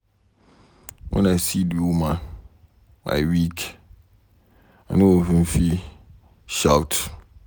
When I see the woman I weak. I no even fit shout.